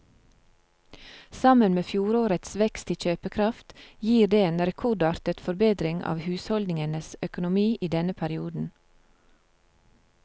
Sammen med fjorårets vekst i kjøpekraft gir det en rekordartet forbedring av husholdningenes økonomi i denne perioden.